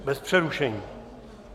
Bez přerušení?